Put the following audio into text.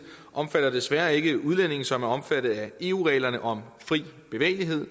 omfatter desværre ikke udlændinge som er omfattet af eu reglerne om fri bevægelighed